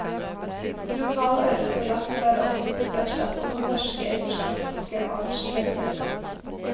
Lokal ørret og laks er oftest erstattet med norske eller skotske artsfrender.